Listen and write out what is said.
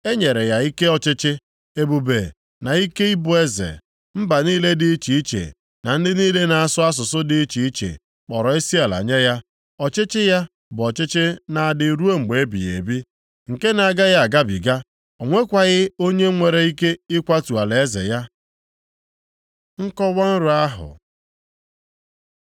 E nyere ya ike ọchịchị, ebube na ike ịbụ eze; mba niile dị iche iche na ndị niile na-asụ asụsụ dị iche iche kpọrọ isiala nye ya. Ọchịchị ya bụ ọchịchị na-adị ruo mgbe ebighị ebi, nke na-agaghị agabiga. O nwekwaghị onye nwere ike ịkwatu alaeze ya. Nkọwa nrọ ahụ